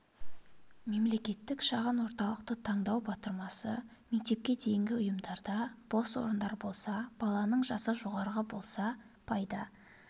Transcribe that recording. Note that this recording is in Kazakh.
мемлекеттік шағын орталықты таңдау батырмасы мектепке дейінгі ұйымдарда бос орындар болса баланың жасы жоғары болса пайда